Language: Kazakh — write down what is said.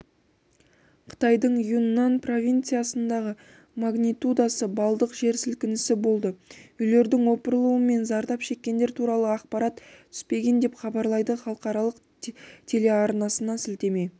қытайдың юньнань провинциясында магнитудасы балдық жер сілкінісі болды үйлердің опырылуы мен зардап шеккендер туралы ақпарат түспеген деп хабарлайды халықаралық телеарнасына сілтеме